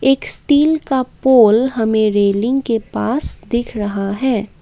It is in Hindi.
एक स्टील का पोल हमें रेलिंग के पास दिख रहा है।